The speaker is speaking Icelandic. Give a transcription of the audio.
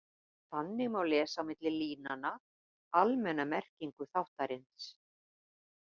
Þannig má lesa á milli línanna almenna merkingu þáttarins.